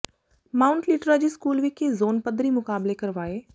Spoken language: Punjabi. ਮਾਊਾਟ ਲਿਟਰਾ ਜੀ ਸਕੂਲ ਵਿਖੇ ਜ਼ੋਨ ਪੱਧਰੀ ਮੁਕਾਬਲੇ ਕਰਵਾਏ